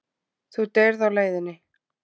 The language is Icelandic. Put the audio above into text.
Þú deyrð á leiðinni.